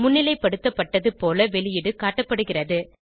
முன்னிலைப்படுத்தப்பட்டது போல வெளியீடு காட்டப்படுகிறது